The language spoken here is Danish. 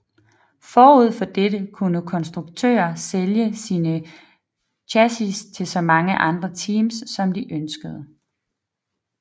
Forud for dette kunne konstruktører sælge sine chassis til så mange andre teams som de ønskede